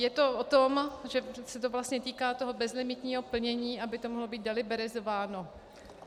Je to o tom, že se to vlastně týká toho bezlimitního plnění, aby to mohlo být deliberizováno.